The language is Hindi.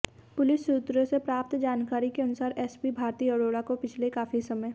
पुलिस सूत्रों से प्राप्त जानकारी के अनुसार एसपी भारती अरोड़ा को पिछले काफी समय